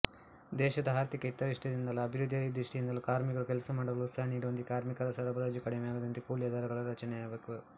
ದೇಶದ ಆರ್ಥಿಕ ಹಿತದೃಷ್ಟಿಯಿಂದಲೂ ಅಭಿವೃದ್ಧಿಯ ದೃಷ್ಟಿಯಿಂದಲೂ ಕಾರ್ಮಿಕರು ಕೆಲಸಮಾಡಲು ಉತ್ಸಾಹ ನೀಡುವಂತೆ ಕಾರ್ಮಿಕರ ಸರಬರಾಜು ಕಡಿಮೆಯಾಗದಂತೆ ಕೂಲಿಯ ದರಗಳ ರಚನೆಯಾಗಬೇಕು